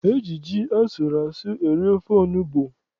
E ji ji asụrụ asụ eri ofe onugbu.